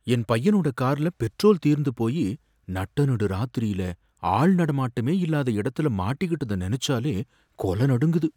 என் பையனோட கார்ல பெட்ரோல் தீர்ந்து போயி, நட்டநடு ராத்திரியில ஆள்நடமாட்டமே இல்லாத இடத்துல மாட்டிகிட்டத நெனச்சாலே கொலநடுங்குது.